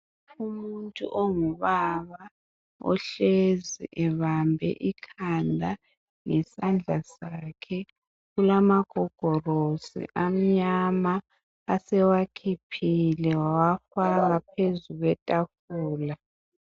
Umuntu ongubaba ohlezi ebambe ikhanda ngesandla sakhe kulama gogolosi amnyama asewakhiphile wawa faka phezu kwetafula.